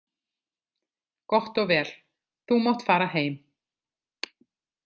Gott og vel, þú mátt fara heim.